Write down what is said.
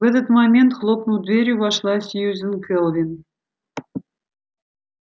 в этот момент хлопнув дверью вошла сьюзен кэлвин